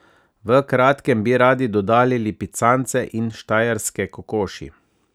V kratkem bi radi dodali lipicance in štajerske kokoši.